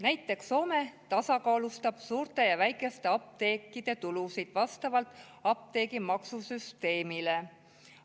Näiteks tasakaalustab Soome suurte ja väikeste apteekide tulusid vastavalt apteegimaksusüsteemile.